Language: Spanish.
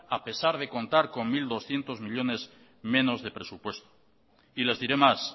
a pesar de contar con mil doscientos millónes menos de presupuesto les diré más